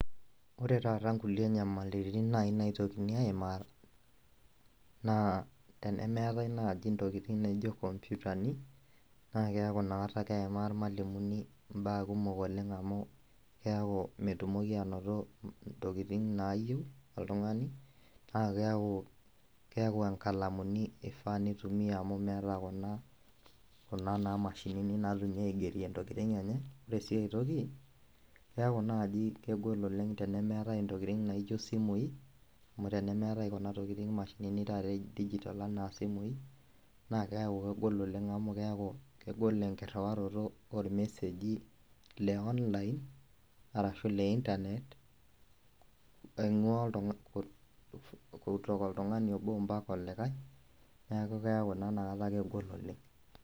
Ore taata nkulie nyamalitin naitokini aimaa na tenemeetai nai ntokitin naijo nkomputani nakeaku inakata keima irmalimulini mbaa kumok olenge amu keaku metumoki ainoto ntokitin nayieu oltungani na keaku nkalamini ifaa pitumia amu meeta naa kuna mashinini naifaa peitumiai aigerie ntokitin enye, ore si ai toki keaku naji kegol oleng tenemeatae ntokitin naijo simui anu tenemeeta mashinini ana simui nakeaku kegol oleng amu keaku kegol enkiriwaroto ormeseji le online ashu le internet oingua oltungani obo mpaka olikae neakukeaku naa inakata kegol oleng.